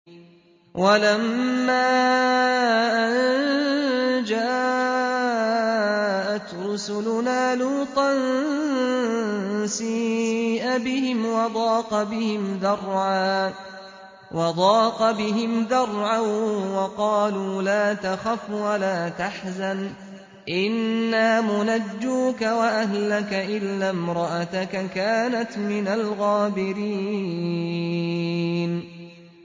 وَلَمَّا أَن جَاءَتْ رُسُلُنَا لُوطًا سِيءَ بِهِمْ وَضَاقَ بِهِمْ ذَرْعًا وَقَالُوا لَا تَخَفْ وَلَا تَحْزَنْ ۖ إِنَّا مُنَجُّوكَ وَأَهْلَكَ إِلَّا امْرَأَتَكَ كَانَتْ مِنَ الْغَابِرِينَ